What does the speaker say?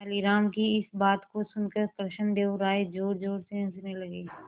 तेनालीराम की इस बात को सुनकर कृष्णदेव राय जोरजोर से हंसने लगे